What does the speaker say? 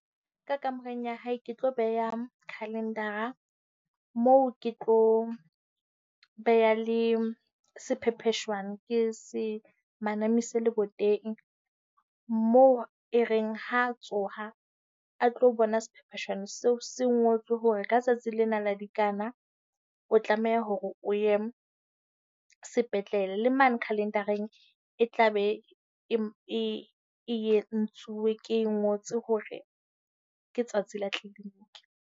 Ka kamoreng ya hae ke tlo beha calendar-ra moo ke tlo beha le sephepheshwana. Ke se manamise leboteng moo e reng ha a tsoha a tlo bona sephepheshwana seo se ngotswe hore ka tsatsi lena la dikana, o tlameha hore o ye sepetlele. Le mane calendar-reng e tla be e ke e ngotswe hore ke tsatsi la clinic.